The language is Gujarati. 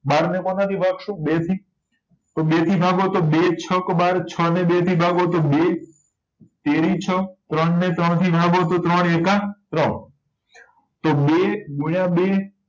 બાર ને કોના થી ભાગ્સું બે થી તો બે થી ભાગો તો બે છક બાર છ ને બે થી ભાગો તો બે તેરી છ ત્રણ ને ત્રણ થી ભાગો તો ત્રણ એકા ત્રણ તો બે ગુણ્યા બે